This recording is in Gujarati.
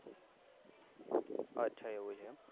અચ્છા એવું છે એમ